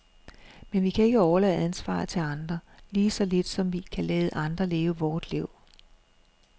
Men vi kan ikke overlade ansvaret til andre, lige så lidt som vi kan lade andre leve vort liv.